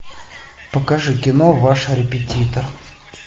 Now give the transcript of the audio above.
покажи кино ваш репетитор